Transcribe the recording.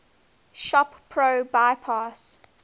shop pro bypass